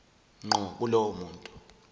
ngqo kulowo muntu